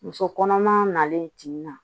Muso kɔnɔma nalen tin na